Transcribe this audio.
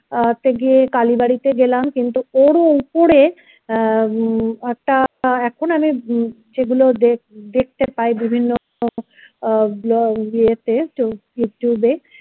আহ তে গিয়ে কালীবাড়িতে গেলাম কিন্তু ওরও উপরে আহ একটা এখন আমি যেগুলো দ~দেখতে পাই বিভিন্ন ইয়েতে আহ youtube এ